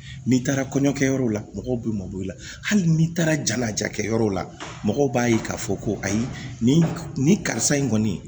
N'i taara kɔɲɔkɛyɔrɔw la mɔgɔw bɛ mɔbil'i la hali ni taara jala jakɛ yɔrɔ la mɔgɔw b'a ye k'a fɔ ko ayi nin nin karisa in kɔni